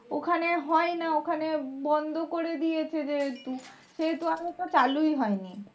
ওখানে হয় না ওখানে বন্ধ করে দিয়েছে যেহেতু সেহেতু আর ওটা চালুই হয়নি।